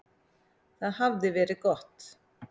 Það hafði verið gott.